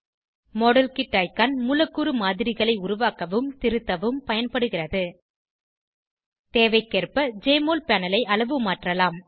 model kit icon மூலக்கூறு மாதிரிகளை உருவாக்கவும் திருத்தவும் பயன்படுகிறது தேவைக்கேற்ப ஜெஎம்ஒஎல் பேனல் ஐ அளவுமாற்றலாம்